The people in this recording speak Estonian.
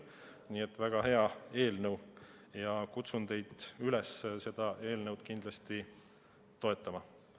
Nii et see on väga hea eelnõu ja kutsun teid üles seda kindlasti toetama.